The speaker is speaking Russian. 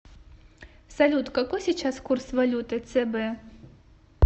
салют какой сейчас курс валюты цб